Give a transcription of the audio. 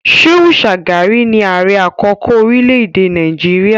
Shehu Shagari ni ààrẹ àkọ́kọ́ orílẹ̀-èdè Nàìjíríà